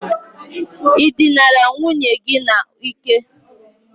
I dinara nwunye gi n' Ike?